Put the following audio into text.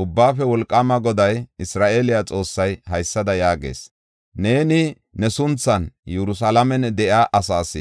“Ubbaafe Wolqaama Goday, Isra7eele Xoossay haysada yaagees: ‘Neeni ne sunthan Yerusalaamen de7iya asaas,